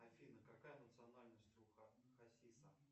афина какая национальность у хасиса